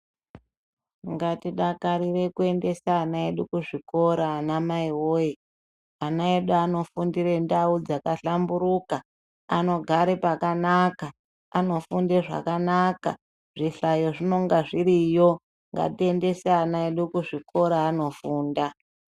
Ngatidakarire kuendesa ana edu kuzvikora anamai voye. Ana edu anofundire ndau dzakahlamburuka, anogare pakanaka, anofunde zvakanaka. zvihlayo zvinonga zviriyo ngatiendese ana edu kuzvikora anofunda.